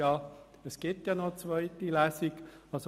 Es wird noch eine zweite Lesung geben.